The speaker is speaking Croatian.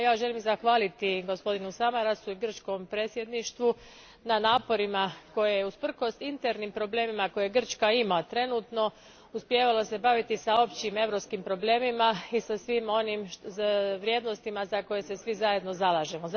Ja želim zahvaliti gospodinu Samarasu i grčkom predsjedništvu na naporima, koje je usprkos internim problemima koje Grčka ima trenutno uspijevalo se baviti sa općim europskim problemima i sa svim onim vrijednostima za koje se svi zajedno zalažemo.